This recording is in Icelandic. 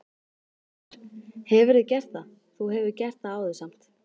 Fréttamaður: Hefurðu gert það, þú hefur gert það áður samt?